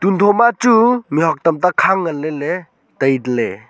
do ma chu mihuak tam ta khang ngan ley ley taite ley.